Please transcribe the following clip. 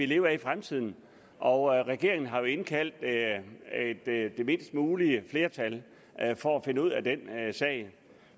leve af i fremtiden og regeringen har jo indkaldt det mindst mulige flertal for at finde ud af den sag